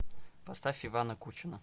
поставь ивана кучина